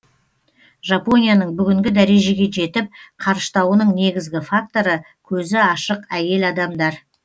жапонияның бүгінгі дәрежеге жетіп қарыштауының негізгі факторы көзі ашық әйел адамдар